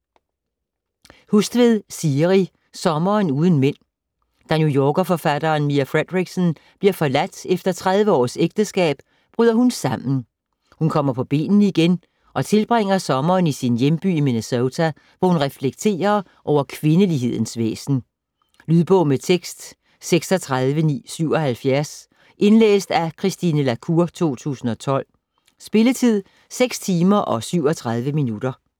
Hustvedt, Siri: Sommeren uden mænd Da New Yorker-forfatteren Mia Fredericksen bliver forladt efter 30 års ægteskab, bryder hun sammen. Hun kommer på benene igen og tilbringer sommeren i sin hjemby i Minnesota, hvor hun reflekterer over kvindelighedens væsen. Lydbog med tekst 36977 Indlæst af Christine la Cour, 2012. Spilletid: 6 timer, 37 minutter.